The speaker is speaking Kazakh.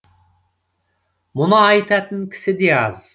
мұны айтатын кісі де аз